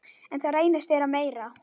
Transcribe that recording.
En það reynist vera meira.